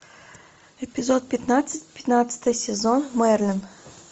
эпизод пятнадцать пятнадцатый сезон мерлин